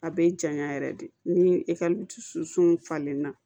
A bɛ janya yɛrɛ de ni ekɔli dusukun falenna